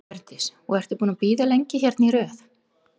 Hjördís: Og ertu búin að bíða lengi hérna í röð?